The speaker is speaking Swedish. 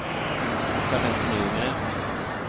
Jeanette Nygren